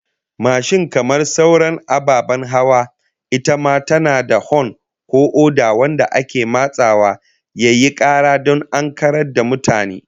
Mashin kamar sauran ababen hawa, ita ma tana da hon ko oda wanda ake matsawa yayi kara don ankarar da mutane